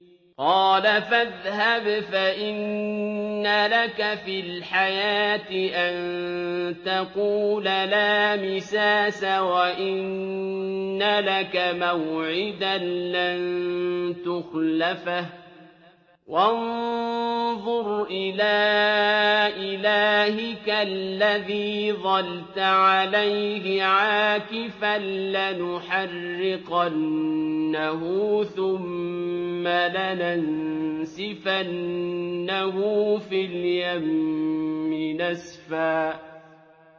قَالَ فَاذْهَبْ فَإِنَّ لَكَ فِي الْحَيَاةِ أَن تَقُولَ لَا مِسَاسَ ۖ وَإِنَّ لَكَ مَوْعِدًا لَّن تُخْلَفَهُ ۖ وَانظُرْ إِلَىٰ إِلَٰهِكَ الَّذِي ظَلْتَ عَلَيْهِ عَاكِفًا ۖ لَّنُحَرِّقَنَّهُ ثُمَّ لَنَنسِفَنَّهُ فِي الْيَمِّ نَسْفًا